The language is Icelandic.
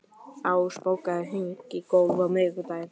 Ás, bókaðu hring í golf á miðvikudaginn.